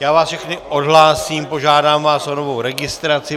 Já vás všechny odhlásím, požádám vás o novou registraci.